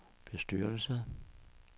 bestyrelse